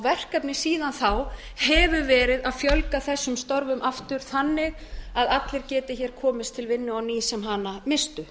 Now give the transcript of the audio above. verkefnið síðan þá hefur verið að fjölga þessum störfum aftur þannig að allir geti hér komist til vinnu á ný sem hana misstu